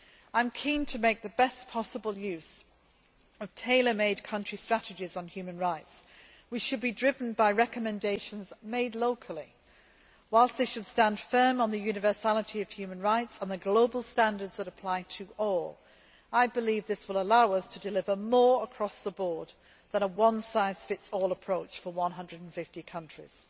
I am keen to make the best possible use of tailor made country strategies on human rights, which should be driven by recommendations made locally. Whilst they should stand firm on the universality of human rights and the global standards that apply to all, I believe this will allow us to deliver more across the board than a one size fits all approach for 150 countries.